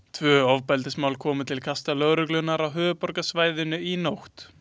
Tvö ofbeldismál komu til kasta Lögreglunnar á höfuðborgarsvæðinu í nótt.